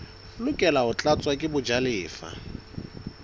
lokela ho tlatswa ke bajalefa